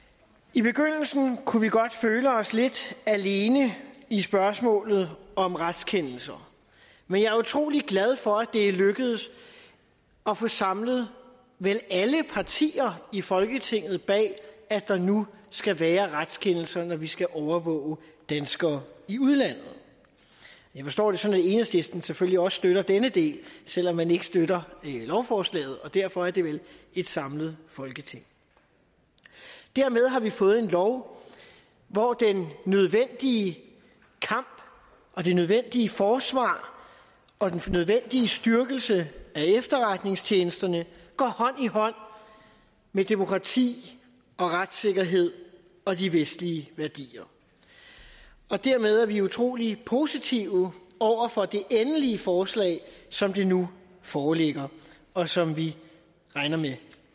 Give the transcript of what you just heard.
i begyndelsen kunne vi godt føle os lidt alene i spørgsmålet om retskendelser men jeg er utrolig glad for at det er lykkedes at få samlet vel alle partier i folketinget bag at der nu skal være retskendelser når vi skal overvåge danskere i udlandet jeg forstår det sådan at enhedslisten selvfølgelig også støtter denne del selv om man ikke støtter lovforslaget og derfor er det vel et samlet folketing dermed har vi fået en lov hvor den nødvendige kamp og det nødvendige forsvar og den nødvendige styrkelse af efterretningstjenesterne går hånd i hånd med demokrati og retssikkerhed og de vestlige værdier og dermed er vi utrolig positive over for det endelige forslag som det nu foreligger og som vi regner med